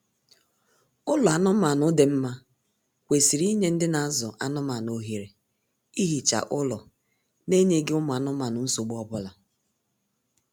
Ụlọ anụmaanụ dị mma kwesịrị inye ndị na azụ anụmaanụ ohere ihicha ụlọ n'enyeghị ụmụ anụmanụ nsogbu ọbụla